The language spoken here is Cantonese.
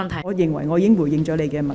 我認為我已回應了你的問題。